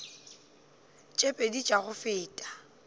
tše pedi tša go feta